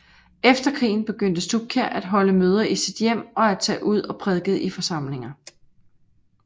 Efter krigen begyndte Stubkjær at holde møder i sit hjem og at tage ud og prædike i forsamlinger